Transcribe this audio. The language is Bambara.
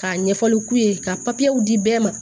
Ka ɲɛfɔli k'u ye ka papiyew di bɛɛ ma